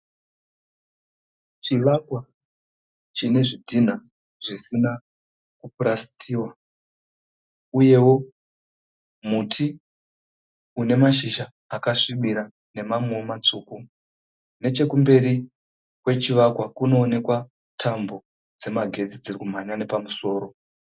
Chivakwa chine zvidhina zvisina ku purasitiwa. Uyewo muti une mashizha akasvibira nemamwewo matsvuku. Nechekumberi kwe chivakwa kunoonekwa tambo dzemagetsi dzirikumhanya nepamusoro.